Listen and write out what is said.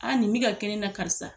A nin bi ka kɛ ne na karisa